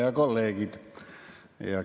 Head kolleegid!